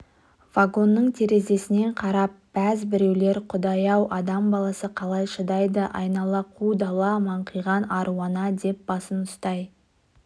вагонның терезесінен қарап бәз біреулер құдай-ау адам баласы қалай шыдайды айнала қу дала маңқиған аруана деп басын ұстай